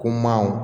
Ko manw